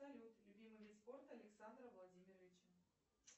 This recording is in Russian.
салют любимый вид спорта александра владимировича